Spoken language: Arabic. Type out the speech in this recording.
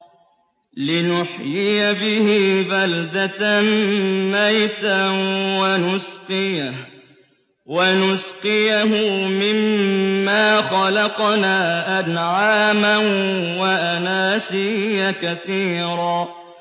لِّنُحْيِيَ بِهِ بَلْدَةً مَّيْتًا وَنُسْقِيَهُ مِمَّا خَلَقْنَا أَنْعَامًا وَأَنَاسِيَّ كَثِيرًا